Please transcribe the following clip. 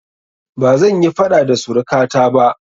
Bazan yi faɗa da suruka ta ba